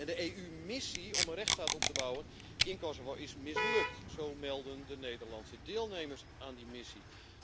De EU missie om een rechtsstaat op te bouwen in Kosovo is mislukt, zo melden de Nederlandse deelnemers aan die missie.